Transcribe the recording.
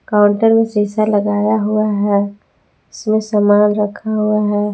Counter में शीशा लगाया हुआ है उसमें सामान रखा हुआ है।